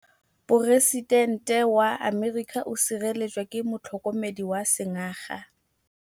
Poresitêntê wa Amerika o sireletswa ke motlhokomedi wa sengaga.